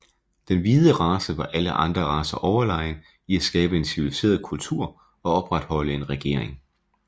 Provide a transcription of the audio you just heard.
Den hvide race var alle andre racer overlegen i at skabe en civiliseret kultur og opretholde en regering